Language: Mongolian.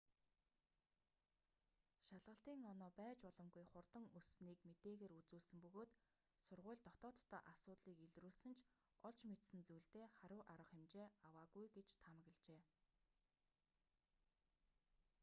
шалгалтын оноо байж боломгүй хурдан өссөнийг мэдээгээр үзүүлсэн бөгөөд сургууль дотооддоо асуудлыг илрүүлсэн ч олж мэдсэн зүйлдээ хариу арга хэмжээ аваагүй гэж таамаглажээ